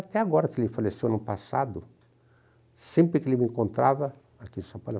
Até agora que ele faleceu, ano passado, sempre que ele me encontrava, aqui em São Paulo,